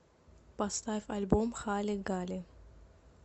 поставь альбом хали гали